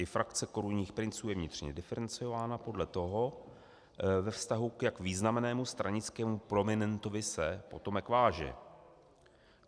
I frakce korunních princů je vnitřně diferencována podle toho, ve vztahu k jak významnému stranickému prominentovi se potomek váže.